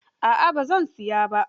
A'a, ba zan siya ba.